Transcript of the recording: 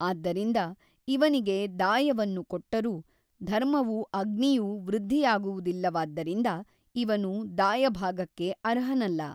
ಆದ್ದರಿಂದ ಇವನಿಗೆ ದಾಯವನ್ನು ಕೊಟ್ಟರೂ ಧರ್ಮವೂ ಅಗ್ನಿಯೂ ವೃದ್ಧಿಯಾಗುವುದಿಲ್ಲವಾದ್ದರಿಂದ ಇವನು ದಾಯಭಾಗಕ್ಕೆ ಅರ್ಹನಲ್ಲ.